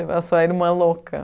Eu sou a irmã louca.